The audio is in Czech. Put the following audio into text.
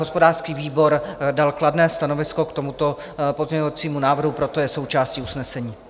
Hospodářský výbor dal kladné stanovisko k tomuto pozměňovacímu návrhu, proto je součástí usnesení.